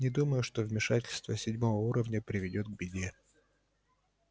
не думаю что вмешательство седьмого уровня приведёт к беде